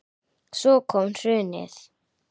Svo kom hrunið.